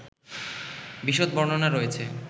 বিশদ বর্ণনা রয়েছে